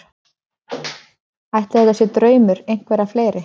Ætli þetta sé draumur einhverra fleiri?